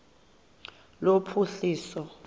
lophuhliso